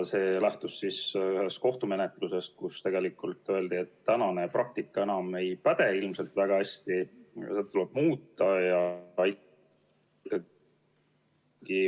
See lähtus ühest kohtumenetlusest, kus tegelikult öeldi, et tänane praktika enam ei päde kuigi hästi, seda tuleb muuta.